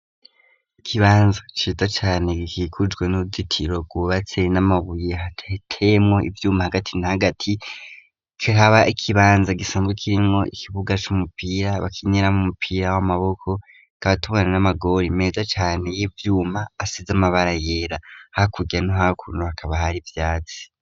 Ikibanza ciza cane gikigujwe n'uruzitiro gubatse n'amabuye hahiteyemo ibyuma hagati na hagati kraba ikibanza gisanzwe kirinwo ikibuga c'umupira bakineramo umupira w'amaboko katobon n'amagori meza cane y'ibyuma asize amabara yera hakuge no hakuntu hakaba hari ivyatsi.